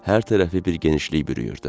Hər tərəfi bir genişlik bürüyürdü.